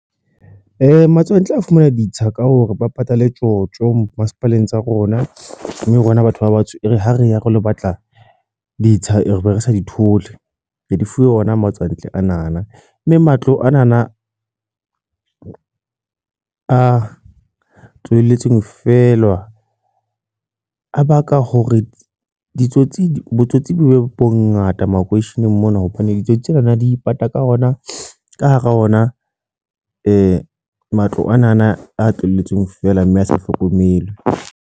Matswantle a fumana ditsha ka hore ba patale tjotjo masepaleng tsa rona, mme rona batho ba batsho, e re ha re ya re lo batla ditsha eo re be re sa di thole, re di fuwe ona matswantle ana na mme matswantle ana na a tlohelletsweng fela a baka hore ditsotsi botsotsi bo bongata makeisheneng mona hobane ditsotsi tsena na di ipata ka ona ka hara ona matlo a tlohelletsweng fela mme a sa hlokomelwe.